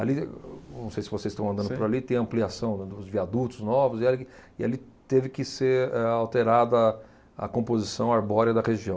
Ali, não sei se vocês estão andando por ali, tem ampliação dos viadutos novos e ali, e ali teve que ser, eh, alterada a composição arbórea da região.